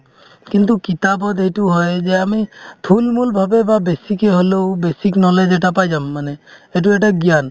কিন্তু কিতাপত এইটো হয় যে আমি থুলমুল ভাবে বা বেছিকে হ'লেও basic knowledge এটা পাই যাম মানে সেইটো এটা জ্ঞান